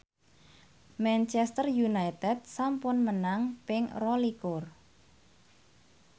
Manchester united sampun menang ping rolikur